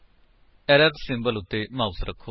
error symbol ਉੱਤੇ mouse ਰੱਖੋ